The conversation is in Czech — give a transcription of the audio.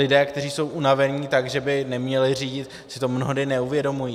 Lidé, kteří jsou unavení tak, že by neměli řídit, si to mnohdy neuvědomují.